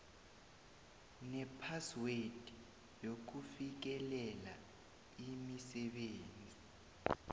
nephaswed yokufikelela imisebenzi